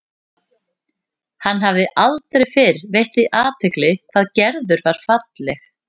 Hann hafði aldrei fyrr veitt því athygli hvað Gerður var falleg.